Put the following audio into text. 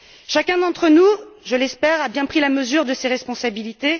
Chacun d'entre nous je l'espère a bien pris la mesure de ses responsabilités.